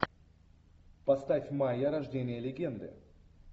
поставь майя рождение легенды